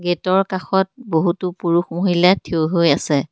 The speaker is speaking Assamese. গেটৰ কাষত বহুতো পুৰুষ মহিলা থিয় হৈ আছে।